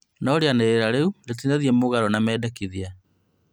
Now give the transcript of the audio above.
No rĩanĩrĩra rĩu rĩtinathiĩ mũgaro na mendikithia